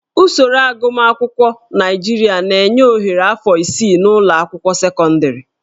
Usoro agụmakwụkwọ Naịjirịa na-enye ohere afọ isii n'ụlọ akwụkwọ sekọndịrị